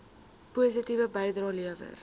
positiewe bydrae lewer